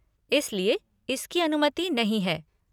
इस लिए इसकी अनुमति नहीं है।